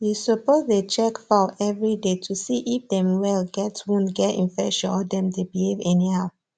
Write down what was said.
you suppose dey check fowl everyday to see if dem well get wound get infection or dem dey behave anyhow